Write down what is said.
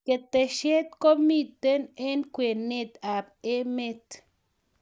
keteshet komito eng' kwenet ab emet